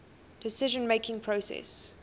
decision making process